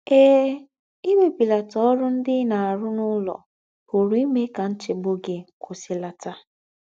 Eè, íwèbìlàtà órù ńdị́ í ná-àrụ̀ n’ùlọ̀ pùrù ímè kà ńchègbù gị̀ kwùsìlàtà.